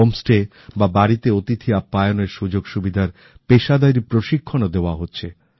homestay বা বাড়িতে অতিথি আপ্যায়নের সুযোগ সুবিধার পেশাদারি প্রশিক্ষণ ও দেওয়া হচ্ছে